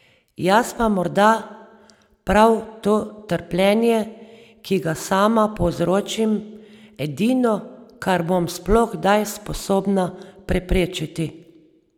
Je pa morda prav to trpljenje, ki ga sama povzročim, edino, kar bom sploh kdaj sposobna preprečiti.